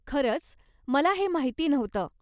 खरंच? मला हे माहिती नव्हतं.